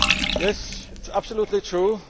Yes, it is absolutely true